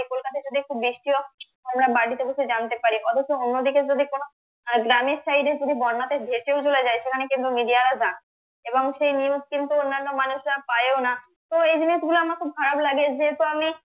কলকাতা যদি একটু বৃষ্টি ও হয় আমরা বাড়িতে বসে জানতে পারি অথচ অন্যদিকে যদি কোন আর গ্রামের side এ যদি বন্যাতে ভেসেও চলে যায় সেখানে কিন্তু media রা যায়না বা এবং সেই news কিন্তু অন্যান্য মানুষরা পায়ও না তো এই জিনিসগুলো আমার খুব খারাপ লাগে যেহেতু আমি